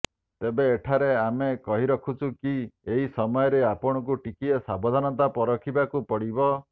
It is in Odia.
ତେବେ ଏଠାରେ ଆମେ କହି ରଖୁଛୁ କି ଏହି ସମୟରେ ଆପଣଙ୍କୁ ଟିକିଏ ସାବଧାନତା ପରଖିବାକୁ ପଡିବ